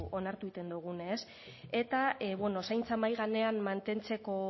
onartzen dugu ez eta bueno zaintza mahai gainean mantentzeko